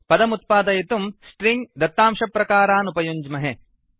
पदम् उत्पादयितुं स्ट्रिंग दत्तांशप्रकारान् उपयुञ्ज्महे